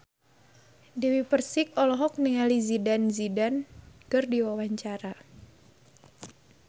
Dewi Persik olohok ningali Zidane Zidane keur diwawancara